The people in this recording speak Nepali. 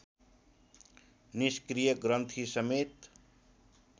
निष्क्रिय ग्रन्थि समेत